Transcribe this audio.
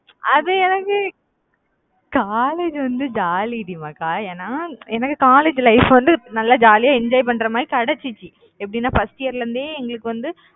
அது வந்து college வந்து jolly டி மக்கா. ஏன்னா எனக்கு college life வந்து நல்லா jolly ஆ enjoy பண்ற மாறி கிடைச்சுச்சு எப்படின்னா first year ல இருந்தே, எங்களுக்கு வந்து